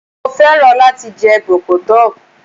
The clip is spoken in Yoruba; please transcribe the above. Mo fẹ́ràn láti jẹ bọ̀kọ́tọ̀